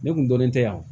Ne kun dɔnnen tɛ yan